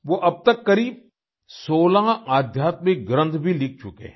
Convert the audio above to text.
वो अब तक करीब 16 आध्यात्मिक ग्रन्थ भी लिख चुके हैं